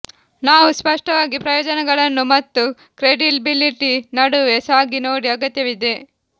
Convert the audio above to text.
ನಾವು ಸ್ಪಷ್ಟವಾಗಿ ಪ್ರಯೋಜನಗಳನ್ನು ಮತ್ತು ಕ್ರೆಡಿಬಿಲಿಟಿ ನಡುವೆ ಸಾಗಿ ನೋಡಿ ಅಗತ್ಯವಿದೆ